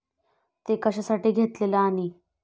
ते कशासाठी घेतलेलं आणि?